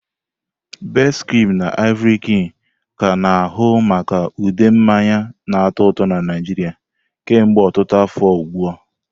Best-cream na Ivory-cream ka a na-ahụ maka ude mmanya na-atọ ụtọ na Nigeria kemgbe ọtụtụ afọ ugbu a.